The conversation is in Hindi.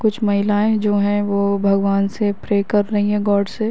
कुछ महिलयाँ जो है वो भगवान से प्रे कर रही हैं गॉड से --